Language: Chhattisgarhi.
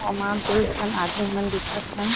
समान दू झन आदमी मन दिखत हे।